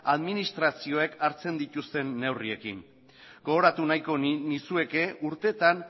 administrazioek hartzen dituzten neurriekin gogoratu nahiko nizueke urtetan